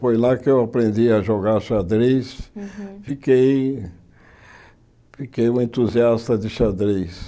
Foi lá que eu aprendi a jogar xadrez, fiquei fiquei um entusiasta de xadrez.